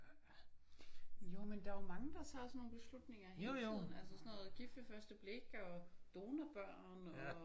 Jo men der er jo mange der tager sådan nogle beslutninger hele tiden altså sådan noget Gift ved første blik og donorbørn og